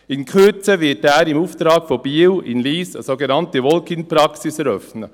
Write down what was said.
In Kürze wird er im Auftrag von Biel in Lyss eine sogenannte Walk-in-Praxis eröffnen.